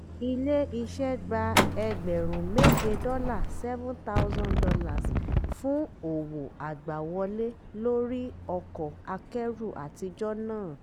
ilé iṣẹ́ gba ẹgbẹ̀rún méje dọ́là seven thousand dollars fún òwò agbàwọlé lórí ọkọ̀ akẹ́rù àtijọ́ náà.